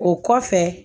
O kɔfɛ